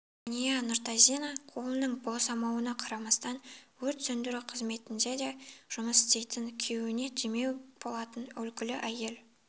жәния нұртазина қолының босамауына қарамастан өрт сөндіру қызметінде де жұмыс істейтін күйеуіне демеу болатын үлгілі әйел